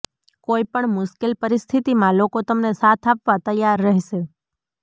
કોઇ પણ મુશ્કેલ પરિસ્થિતિમાં લોકો તમને સાથ આપવા તૈયાર રહેશે